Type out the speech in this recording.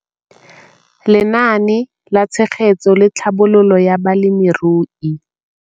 Lenaane la Tshegetso le Tlhabololo ya Balemirui